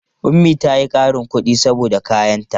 Ummi ta yi ƙarin kuɗi saboda kayanta.